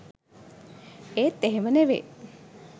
ඒත් එහෙම නෙවේ